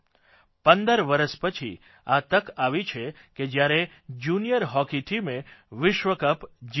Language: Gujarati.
પંદર વરસ પછી આ તક આવી છે કે જયારે જુનિયર હોકી ટીમે વિશ્વકપ જીત્યો છે